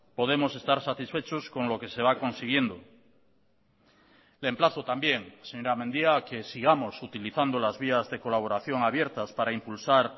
podemos estar satisfechos con lo que se va consiguiendo le emplazo también señora mendia a que sigamos utilizando las vías de colaboración abiertas para impulsar